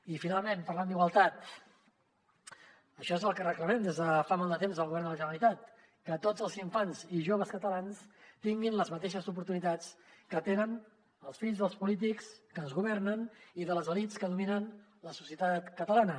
i finalment parlant d’igualtat això és el que reclamem des de fa molt de temps al govern de la generalitat que tots els infants i joves catalans tinguin les mateixes oportunitats que tenen els fills dels polítics que ens governen i de les elits que dominen la societat catalana